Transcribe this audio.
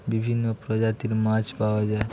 বিভিন্ন প্রজাতির মাছ পাওয়া যায়।